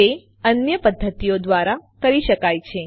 તે અન્ય પદ્ધતિઓ દ્વારા કરી શકાય છે